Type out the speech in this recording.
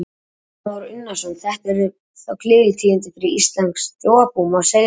Kristján Már Unnarsson: Þetta eru þá gleðitíðindi fyrir íslenskt þjóðarbú, má segja það?